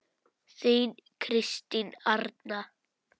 Þín Kristín Arna.